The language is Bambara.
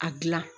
A gilan